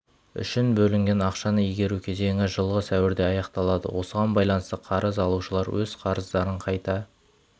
үшін бөлінген ақшаны игеру кезеңі жылғы сәуірде аяқталады осыған байланысты қарыз алушылар өз қарыздарын қайта